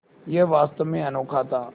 यह वास्तव में अनोखा था